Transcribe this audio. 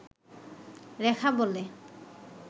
রেখা বলে